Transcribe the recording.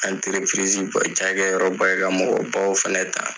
ca kɛ yɔrɔ ba ye ka mɔgɔ baw fɛnɛ ta.